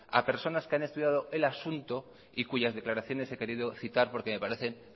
a personas que han estudiado el asunto y cuyas declaraciones he querido citar porque me parecen